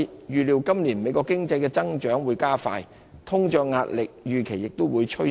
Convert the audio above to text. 預料美國今年的經濟增長會加快，通脹壓力預期也會趨升。